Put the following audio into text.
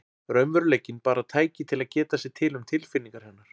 Raunveruleikinn bara tæki til að geta sér til um tilfinningar hennar.